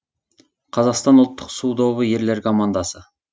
қазақстан ұлттық су добы ерлер командасы